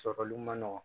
Sɔrɔli ma nɔgɔn